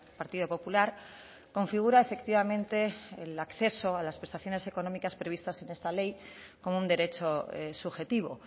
partido popular configura efectivamente el acceso a las prestaciones económicas previstas en esta ley con un derecho subjetivo